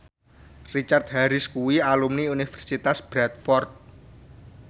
Richard Harris kuwi alumni Universitas Bradford